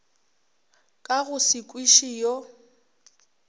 ka go se kwiše yo